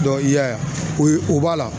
i y'a ye o ye o b'a la